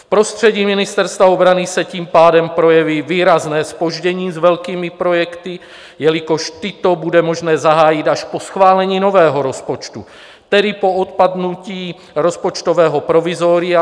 V prostředí Ministerstva obrany se tím pádem projeví výrazné zpoždění s velkými projekty, jelikož tyto bude možné zahájit až po schválení nového rozpočtu, tedy po odpadnutí rozpočtového provizoria.